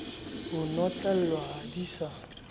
ho notlellwa ha di sa